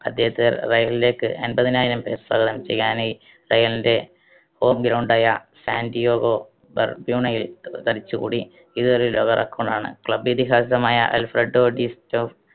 അദ്ദേഹത്തെ റയലിലേക്ക് എൺപതിനായിരം പേർ സ്വാഗതം ചെയ്യാനായി റയലിന്റെ home ground യ സാൻറ്റിയോഗോ ബെർബ്യുണയിൽ തടിച്ചുകൂടി. ഇത് ഒരു ലോക record ണ്. Club ഇതിഹാസമായ ആൽഫ്രഡോ ഡിസ്റ്റോ